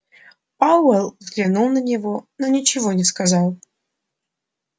пауэлл взглянул на него но ничего не сказал